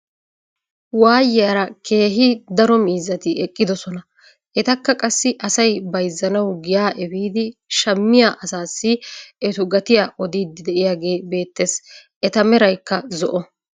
Waayiyaara keehi daro miizzati eqqidoosona. etakka qassi asay bayzzanawu giyaa epiidi shammiyaa asasi etu gatiyaa odiidi de'iyooge beettees. eta meraykka zo"o.